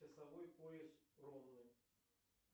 часовой пояс ромны